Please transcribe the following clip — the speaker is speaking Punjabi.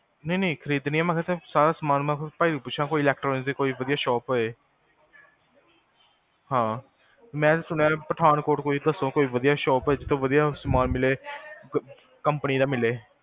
ਨਹੀ ਨਹੀ ਖ੍ਰੀਦਣੀਆਂ ਮੈਂ ਕਿਹਾ ਸਾਰਾ ਸਾਮਾਨ ਭਾਜੀ ਨੂੰ ਪੁਛੋਕੋਈ electronics ਦੀ ਵਧਿਆ ਸ਼ੌਪ ਹੋਏ ਹਾਂ ਮੈਂ ਸੁਣਿਆ ਪਠਾਨਕੋਟ ਕੋਈ ਵਧਿਆ ਸ਼ੋਪ ਹੋਏ ਜਿਥੋਂ ਵਧਿਆ ਸਾਮਾਨ ਮਿਲੇ ਕੰਪਨੀ ਦਾ ਮਿਲੇ